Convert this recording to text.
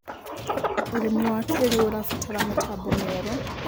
Ũrĩmĩ wa kĩĩrĩũ ũrabatara mĩtambo mĩerũ